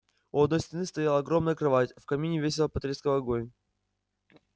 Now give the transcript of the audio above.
у одной стены стояла огромная кровать в камине весело потрескивал огонь